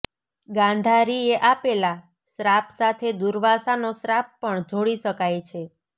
ગાંધારીએ આપેલા શ્રાપ સાથે દુર્વાસાનો શ્રાપ પણ જોડી શકાય છે